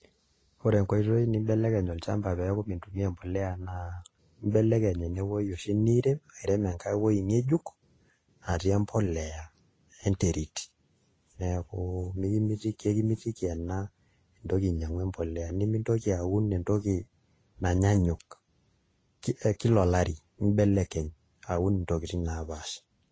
Ore enkoitoi nimbelekeny olchamba metaa mintumiaa embolea naa imbelekeny enewuei oshi niirem airem enkai wueji ng'ejuk natii embolea enterit neeku kekimitiki ena intoki ainyiang'u embolea, nemintoki aun entoki nanyanyuk, kila olari nimbelekeny aun ntokitin naapaasha.